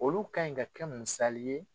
Olu ka ɲi ka kɛ musali ye.